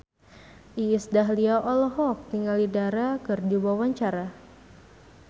Iis Dahlia olohok ningali Dara keur diwawancara